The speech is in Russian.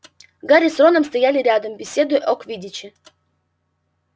гарри с роном стояли рядом беседуя о квиддиче